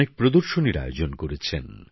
অনেক প্রদর্শনীর আয়োজন করেছেন